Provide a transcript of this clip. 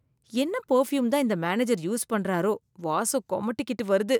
என்ன பர்ஃபியூம் தான் இந்த மேனேஜர் யூஸ் பண்ணாரோ, வாசம் குமட்டிகிட்டு வருது.